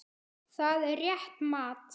Það er rétt mat.